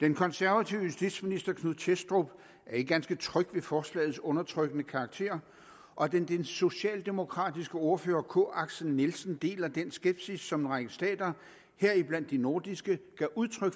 den konservative justitsminister knud thestrup er ikke ganske tryg ved forslagets undertrykkende karakter og den socialdemokratiske ordfører k axel nielsen deler den skepsis som en række stater heriblandt de nordiske gav udtryk